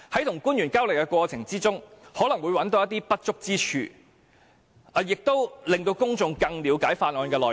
與官員交流的過程中，可能會找到一些不足之處，亦可令公眾更了解法案內容。